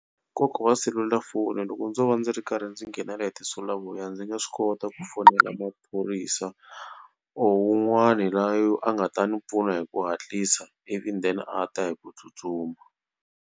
Nkoka wa cellular phone loko ndzo va ndzi ri karhi ndzi nghenela hi tinsulavoya ndzi nga swi kota ku fonela maphorisa or wun'wani layo a nga ta ni pfuna hi ku hatlisa ivi then a ta hi ku tsutsuma.